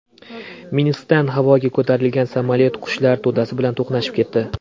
Minskdan havoga ko‘tarilgan samolyot qushlar to‘dasi bilan to‘qnashib ketdi.